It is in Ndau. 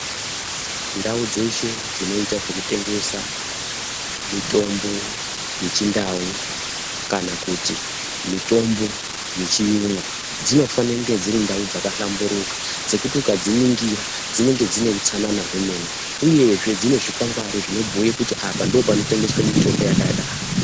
Ndau dzeshe dzinoita zvekutengesa mitombo yechindau kana kuti mitombo yechiyungu dzinofane kunge dziri ndau dzakahlamburuka sekuti ukadziningira dzinenge dzine utsanana hwemene uyezve dzine zvikwangwari zvinobhuye kuti apa ndopanotengeswe mitombo yakadaro.